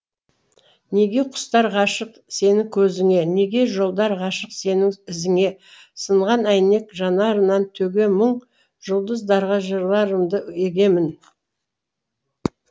неге құстар ғашық сенің көзіңе неге жолдар ғашық сенің ізіңе сынған әйнек жанарынан төге мұң жұлдыздарға жырларымды егемін